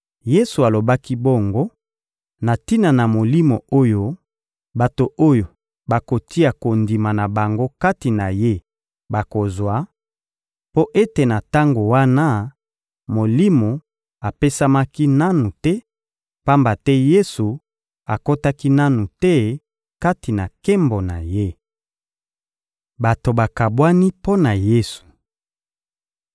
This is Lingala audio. Yesu alobaki bongo na tina na Molimo oyo bato oyo bakotia kondima na bango kati na Ye bakozwa; mpo ete na tango wana, Molimo apesamaki nanu te, pamba te Yesu akotaki nanu te kati na nkembo na Ye. Bato bakabwani mpo na Yesu